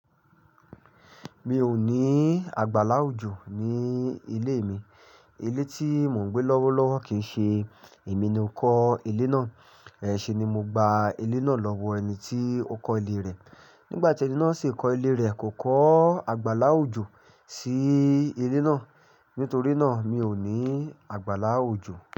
Mi ò ní àgbàlá òjo ní ilé mi. Ilé tí mò ń gbé lọ́wọ́lọ́wọ́ kìí ṣe èmi ni o kọ́ ilé náà. Iṣẹ̀ ni mo gba ilé náà lọ́wọ́ ẹni tí ó kọ́ ilé rẹ̀. Nígbà tí ẹni náà sì kọ́ ilé rẹ̀ kò kọ́ àgbàlá òjo sí ilé náà. Nítorí náà, mi ò ní àgbàlá òjo.